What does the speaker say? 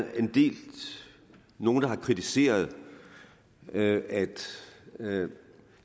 nogle der har kritiseret at at vi